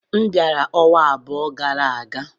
M bịara ọnwa abụọ gara aga.